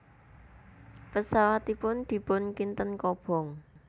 Pesawatipun dipun kinten kobong